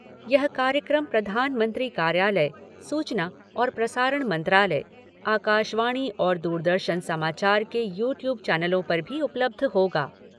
यह कार्यक्रम प्रधानमंत्री कार्यालय, सूचना और प्रसारण मंत्रालय, आकाशवाणी और दूरदर्शन समाचार के यू ट्यूब चैनलों पर भी उपलब्ध होगा।